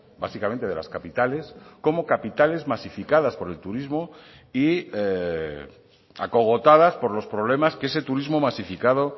básicamente de las capitales como capitales masificadas por el turismo y acogotadas por los problemas que ese turismo masificado